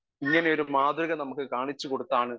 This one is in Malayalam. സ്പീക്കർ 1 ഇങ്ങനെയൊരു മാതൃക നമുക്ക് കാണിച്ചുകൊടുത്താണ്